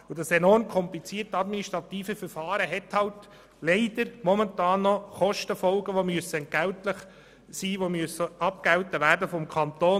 Das enorm komplizierte administrative Verfahren hat halt leider momentan Kostenfolgen, die vom Kanton abgegolten werden müssen.